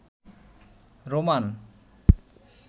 Roman